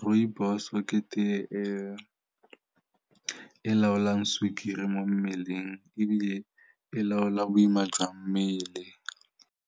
Rooibos-e ke tee e e laolang sukiri mo mmeleng ebile e laola boima jwa mmele.